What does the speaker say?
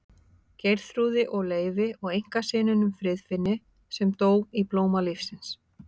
Geirþrúði og Leifi og einkasyninum Friðfinni sem dó í blóma lífsins.